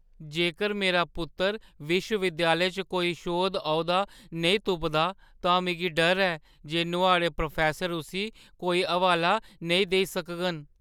जेकर मेरा पुत्तर विश्वविद्यालय च कोई शोध-औह्‌दा नेईं तुपदा तां मिगी डर ऐ जे नुआढ़े प्रोफैसर उस्सी कोई हवाला नेईं देई सकङन ।